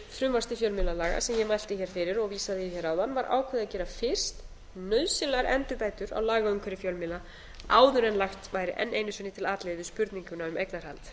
frumvarps til fjölmiðlalaga sem ég mælti hér fyrir og vísaði í hér áðan var ákveðið að gera fyrst nauðsynlegar endurbætur á lagaumhverfi fjölmiðla áður en lagt væri enn einu sinni til atlögu við spurninguna um eignarhald